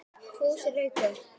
Fúsi rauk upp.